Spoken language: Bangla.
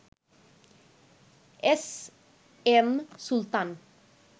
S M Sultan